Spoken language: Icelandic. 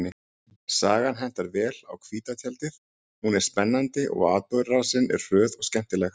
Sagan hentar vel á hvíta tjaldið, hún er spennandi og atburðarásin er hröð og skemmtileg.